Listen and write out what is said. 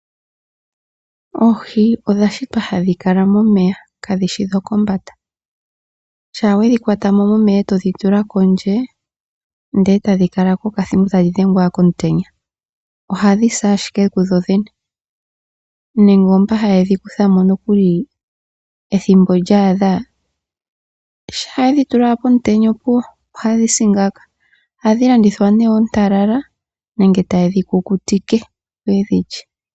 Oohi odha shitwa hadhi kala momeya kadhi shi dhokombanda. Shampa we dhi kwata mo momeya e todhi tula kondje e tadhi kala ko okathimbo e tadhi dhengwa komutenya ohadhi si ashike kudhodhene. Nande oomboka haye dhi kutha mo ethimbo lya adha, shampa ye dhi tula pomutenya opuwo, odha sa ngaaka. Ohadhi landithwa oontalala nenge taye dhi kukutike, opo ye dhi lye.